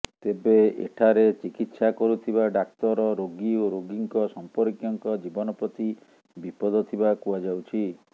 ତେବେ ଏଠାରେ ଚିକିତ୍ସା କରୁଥିବା ଡାକ୍ତର ରୋଗୀ ଏବଂ ରୋଗୀଙ୍କ ସମ୍ପର୍କୀୟଙ୍କ ଜୀବନ ପ୍ରତି ବିପଦ ଥିବା କୁହାଯାଉଛି